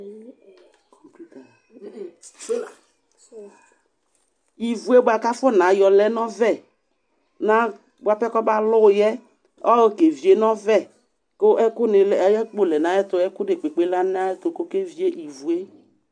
Ivu yɛ bʋa kʋ afɔnayɔ lɛ nʋ ɔvɛ na bʋa pɛ kɔmalʋ yɛ, ayɔ kevie nʋ ɔvɛ kʋ ɛkʋnɩ lɛ ayʋ akpo lɛ nʋ ayɛtʋ Ɛkʋ dekpekpe lɛ nʋ ayɛtʋ kʋ ɔkevie ivu yɛ